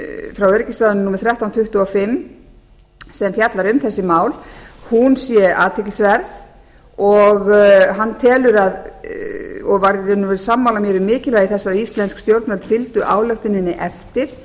frá öryggisráðinu númer þrettán hundruð tuttugu og fimm sem fjallar um þessi mál sé athyglisverð og hann telur og var í raun og veru sammála mér um mikilvægi þess að íslensk stjórnvöld fylgdu ályktuninni eftir